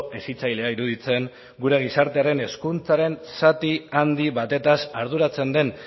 hezitzailea iruditzen guren gizartearen hezkuntzaren zati handi batetaz arduratzen den